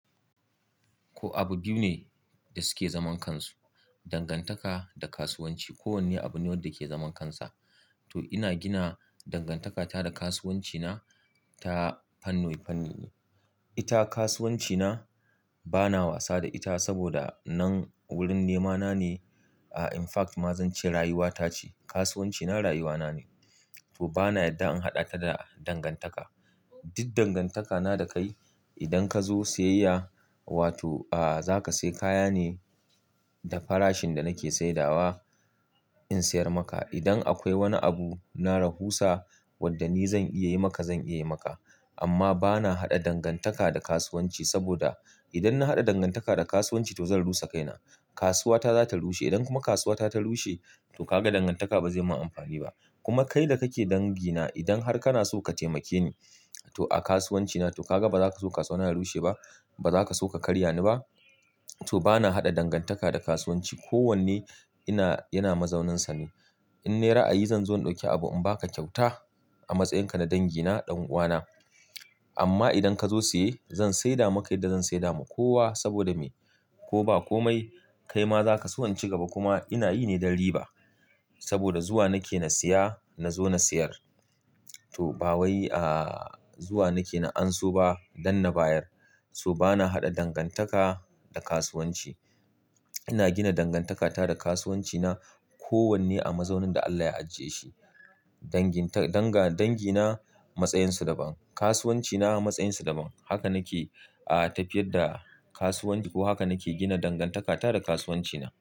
Ko abu biyu ne da suke zaman kansu, dangantaka da kasuwanci. Kowanne abu ne wanda ke zaman kansa. To ina gina dangantakata da kasuwancina ta fanni-fanni ne. Ita kasuwancina bana wasa da ita saboda nan wurin nemana ne. A in fact ma zan ce rayuwata ce. Kasuwancina rayuwana ne. To bana yadda in haɗa ta da dangantaka. Duk dangantakana da kai idan ka zo siyayya, wato a za ka sai kaya ne da farashin da nake saidawa in sayar maka. Idan akwai wani abu na rahusa wanda ni zan iya yi maka, zan iya yi maka. Amma bana haɗa dangantaka da kasuwanci saboda idan na haɗa dangantaka da kasuwanci to zan rusa kaina. Kasuwa ta za ta rushe. Idan kuma kasuwa ta ta rushe to kaga dangantaka ba zai ma amfani ba. Kuma kai da kake dangina idan har kana so ka taimake ni to a kasuwancina to kaga ba za ka so kasuwa na ya rushe ba, ba za ka so ka karya ni ba. To bana haɗa dangantaka da kasuwanci. Kowanne ina, yana mazauninsa ne. In naira a yi zan zo in dauki abu in ba ka kyauta a matsayinka na dangi na, ɗan'uwana. Amma idan ka zo saye zan saida maka yadda zan saida ma kowa saboda me? Ko ba komai kai ma za ka siyan ci gaba. Kuma ina yi ne dan riba saboda zuwa nake na siya na zo na sayar. To ba wai a zuwa nake na anso ba dan na bayar. To bana haɗa dangantaka da kasuwanci. Ina gina dangantakata da kasuwancina. Kowanne a mazaunin da Allah ya ajiye shi. Dangin ta, danga, dangi na matsayansa daban. Kasuwanci na matsayinsa daban. Haka nake a tafiyar da kasuwanci ko haka nake gina dangantakata da kasuwancina.